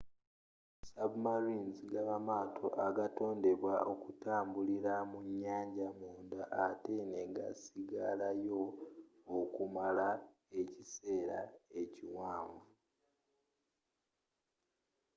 submarines gaba maato agatondebwa okutambilira mu nyaanja munda atte negasigalayo okumala ekiseera ekiwanvu